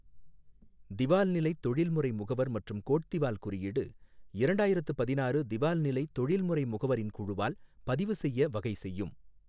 திவால்நிலை தொழில்முறை முகவர் மற்றும் கோட்திவால் குறியீடு இரண்டாயிரத்து பதினாறு திவால்நிலை தொழில்முறை முகவர் இன் குழுவால் பதிவு செய்ய வகை செய்யும்.